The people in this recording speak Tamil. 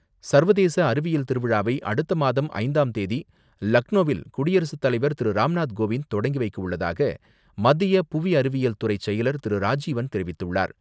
சர்வதேச அறிவியல் திருவிழாவை அடுத்த மாதம் ஐந்தாம் தேதி லக்னோவில் குடியரசுத் தலைவர் திரு.ராம்நாத் கோவிந்த் தொடங்கி வைக்க உள்ளதாக மத்திய புவி அறிவியல் துறை செயலர் திரு.ராஜீவன் தெரிவித்துள்ளார்.